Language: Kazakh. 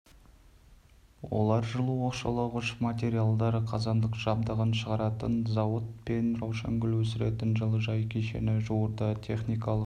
олар жылу оқшаулағыш материалдар қазандық жабдығын шығаратын зауыт пен раушангүл өсіретін жылыжай кешені жуырда техникалық